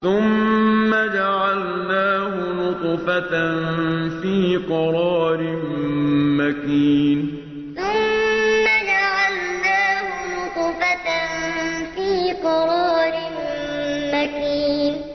ثُمَّ جَعَلْنَاهُ نُطْفَةً فِي قَرَارٍ مَّكِينٍ ثُمَّ جَعَلْنَاهُ نُطْفَةً فِي قَرَارٍ مَّكِينٍ